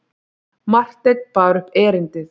Marteinn bar upp erindið.